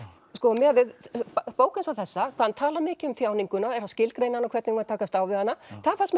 miðað við bók eins og þessa hvað hann talar mikið um þjáninguna skilgreina hana hvernig við eigum að takast á við hana það fannst mér